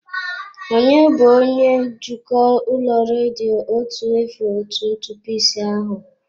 Ònye bụ onye njikwa ụlọ ọrụ redio otu efu otu ntụpọ ise ahụ?